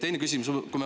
Teine küsimus.